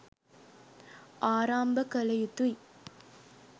ආරම්භ කළ යුතුයි.